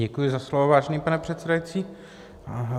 Děkuji za slovo, vážený pane předsedající.